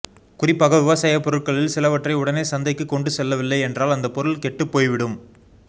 குறிப்பாக விவசாய பொருட்களில் சிலவற்றை உடனே சந்தைக்கு கொண்டு செல்லவில்லை என்றால் அந்த பொருள் கெட்டு போய்விடும்